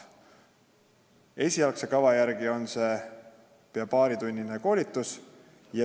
Esialgse kava järgi on see pea paaritunnine koolitus.